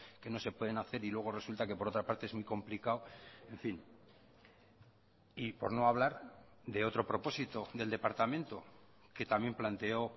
que no se pueden hacer y luego resulta que por otra parte es muy complicado en fin y por no hablar de otro propósito del departamento que también planteo